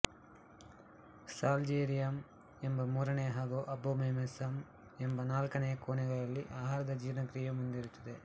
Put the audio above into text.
ಸಾಲ್ಜೇರಿಯಮ್ ಎಂಬ ಮೂರನೆಯ ಹಾಗೂ ಅಬೋಮೇಸಮ್ ಎಂಬ ನಾಲ್ಕನೆಯ ಕೋಣೆಗಳಲ್ಲಿ ಆಹಾರದ ಜೀರ್ಣಕ್ರಿಯೆ ಮುಂದುವರಿಯುತ್ತದೆ